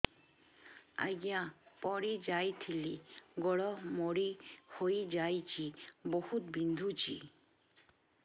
ଆଜ୍ଞା ପଡିଯାଇଥିଲି ଗୋଡ଼ ମୋଡ଼ି ହାଇଯାଇଛି ବହୁତ ବିନ୍ଧୁଛି